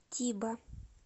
тиба